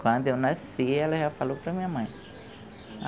Quando eu nasci, elas já falou para a minha mãe,